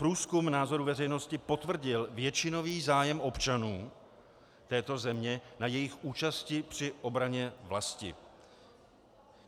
Průzkum názorů veřejnosti potvrdil většinový zájem občanů této země na jejich účasti při obraně vlasti.